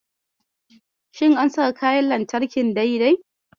Shin an saka kayan lantarki dai-dai?